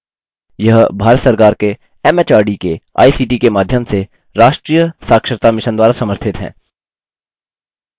यह भारत सरकार के एमएचआरडी के आईसीटी के माध्यम से राष्ट्रीय साक्षरता mission द्वारा समर्थित है